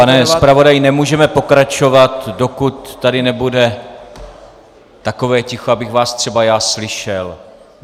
Pane zpravodaji, nemůžeme pokračovat, dokud tady nebude takové ticho, abych vás třeba já slyšel.